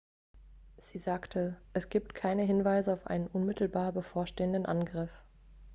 sie sagte es gibt keine hinweise auf einen unmittelbar bevorstehenden angriff